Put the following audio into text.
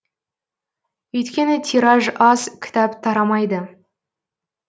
өйткені тираж аз кітап тарамайды